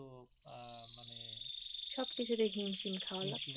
সবকিচুতেই হিমশিম খাওয়া